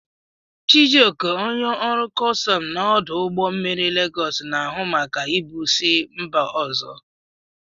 Chijioke, onye ọrụ kọstọm na ọdụ ụgbọ mmiri Legos, na-ahụ maka ibu si mba ozo.